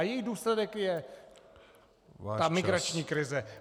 A její důsledek je ta migrační krize.